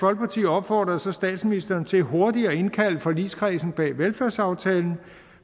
opfordrede så statsministeren til hurtigt at indkalde forligskredsen bag velfærdsaftalen